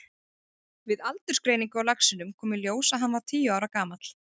Við aldursgreiningu á laxinum kom í ljós að hann var tíu ára gamall.